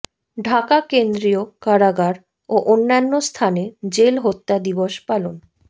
ঢাকা কেন্দ্রীয় কারাগার ও অন্যান্য স্থানে জেল হত্যা দিবস পালন